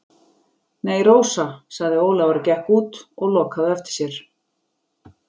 Nei, Rósa, sagði Ólafur og gekk út og lokaði á eftir sér.